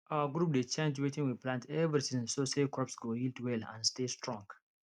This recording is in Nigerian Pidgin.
our group dey change wetin we plant every season so say crops go yield well and stay strong